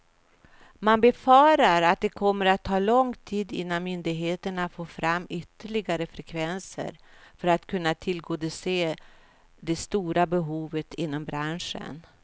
Man befarar att det kommer att ta lång tid innan myndigheterna får fram ytterliggare frekvenser för att kunna tillgodose det stora behovet inom branschen.